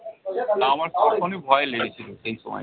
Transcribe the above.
তা আমার তক্ষনি ভয় লেগেছিলো সেই সময়।